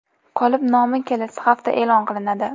Qolib nomi kelasi hafta e’lon qilinadi.